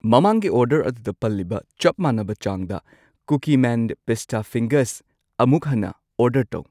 ꯃꯃꯥꯡꯒꯤ ꯑꯣꯔꯗꯔ ꯑꯗꯨꯗ ꯄꯜꯂꯤꯕ ꯆꯞ ꯃꯥꯟꯅꯕ ꯆꯥꯡꯗ ꯀꯨꯀꯤꯃꯦꯟ ꯄꯤꯁꯇꯥ ꯐꯤꯡꯒꯔꯁ ꯑꯃꯨꯛ ꯍꯟꯅ ꯑꯣꯔꯗꯔ ꯇꯧ꯫